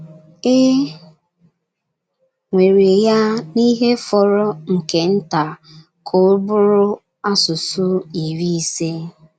E nwere ya n’ihe fọrọ nke nta ka ọ bụrụ asụsụ iri ise.